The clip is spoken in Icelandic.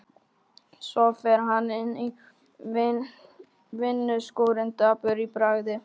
Svo fer hann inn í vinnuskúrinn dapur í bragði.